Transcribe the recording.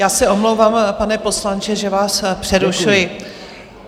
Já se omlouvám, pane poslanče, že vás přerušuji.